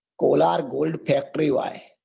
Kolar gold fields